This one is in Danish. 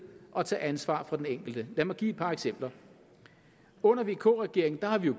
og tage ansvar fra den enkelte lad mig give et par eksempler under vk regeringen har vi